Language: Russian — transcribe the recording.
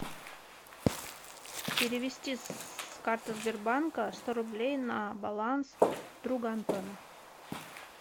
перевести с карты сбербанка сто рублей на баланс друга антона